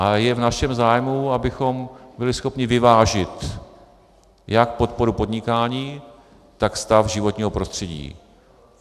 A je v našem zájmu, abychom byli schopni vyvážit jak podporu podnikání, tak stav životního prostředí.